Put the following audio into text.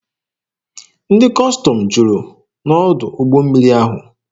Ndị Kọstọm juru n'ọdụ ụgbọ mmiri ahụ.